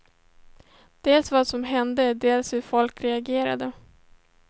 Dels vad som hände, dels hur folk reagerade.